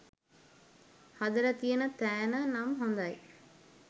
හදල තියන තෑන නම් හොදයි